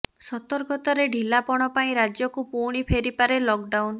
ସତର୍କତାରେ ଢିଲା ପଣ ପାଇଁ ରାଜ୍ୟକୁ ପୁଣି ଫେରିପାରେ ଲକଡାଉନ